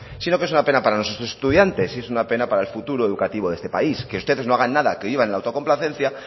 sino que es una pena para nuestros estudiantes y es una pena para el futuro educativo de esta país que ustedes no hagan nada que vivan en la autocomplacencia